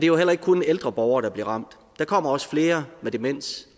jo heller ikke kun ældre borgere der bliver ramt der kommer også flere med demens